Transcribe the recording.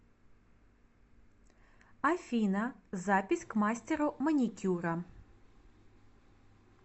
афина запись к мастеру маникюра